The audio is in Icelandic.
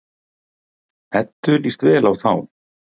Eddu líst vel á þá.